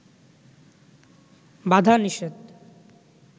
বাধা-নিষেধ